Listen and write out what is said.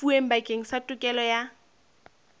lefuweng bakeng sa tokelo ya